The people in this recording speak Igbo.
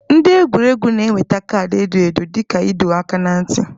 Ndị egwuregwu na-enweta kaadị edo edo dị ka ịdọ aka ná ntị.